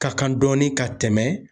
Ka kan dɔɔni ka tɛmɛ